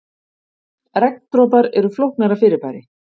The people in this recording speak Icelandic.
Regndropar eru flóknara fyrirbæri.